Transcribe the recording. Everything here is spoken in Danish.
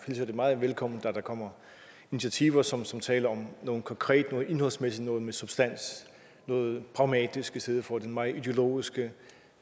jeg meget velkommen at der kommer initiativer som som taler om noget konkret noget indholdsmæssigt noget med substans noget pragmatisk i stedet for den meget ideologiske